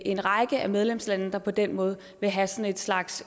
en række af medlemslandene der på den måde vil have sådan en slags